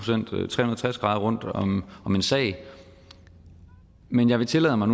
og tres grader rundt om om en sag men jeg vil tillade mig